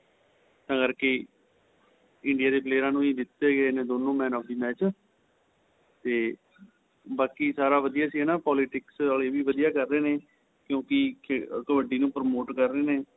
ਤਾਂ ਕਰਕੇ India ਦੇ player ਨੂੰ ਦਿੱਤੇ ਗਏ ਨੇ ਦੋਨੋਂ man of the match ਤੇ ਬਾਕੀ ਸਾਰਾ ਵਧੀਆ ਸੀ ਹੈਨਾ politics ਵਾਲੇ ਵੀ ਵਧੀਆ ਕਰ ਰਹੇ ਨੇ ਕਿਉਂਕਿ ਕਬੱਡੀ ਨੂੰ promote ਕਰ ਰਿਹੇ ਨੇ